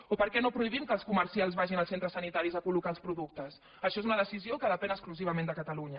o per què no prohibim que els comercials vagin als centres sanitaris a col·locar els productes això és una decisió que depèn exclusivament de catalunya